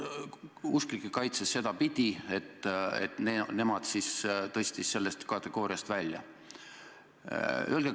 Usklikke kaitses ta sedapidi, et nemad tõstis ta sellest kategooriast välja.